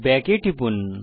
back এ টিপুন